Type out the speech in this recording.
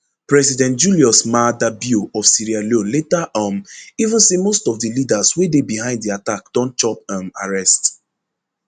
president julius maada bio of sierra leone later um even say most of di leaders wey dey behind di attack don chop um arrest